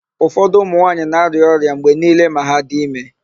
Ufọdụ ụmụnwaanyị na-arịa ọrịa mgbe niile ma ha dị ime.